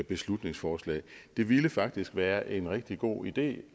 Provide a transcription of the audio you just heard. beslutningsforslag det ville faktisk være en rigtig god idé